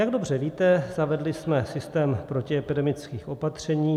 Jak dobře víte, zavedli jsme systém protiepidemických opatření.